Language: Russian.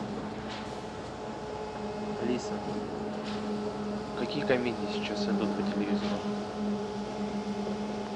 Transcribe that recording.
алиса какие комедии сейчас идут по телевизору